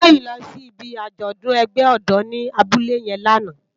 Toyin lò si ibi ájòdùn ègbè òdò ni àbúlé yèn làná